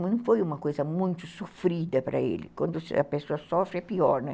Não foi uma coisa muito sofrida para ele, quando a pessoa sofre é pior, né?